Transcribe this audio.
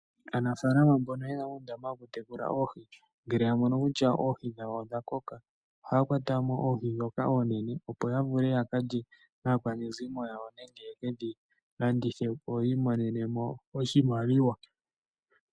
Aanafaalama mbono yena uundama wokutekula oohi ngele ya mono kutya oohi dhawo odha koka, ohaya kwata mo oohi dhoka oonene, opo ya vule yakalye naakwanezimo yawo, nenge yekedhi landithe opo yi imonene mo oshimaliwa.